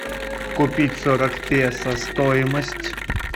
купить сорок песо стоимость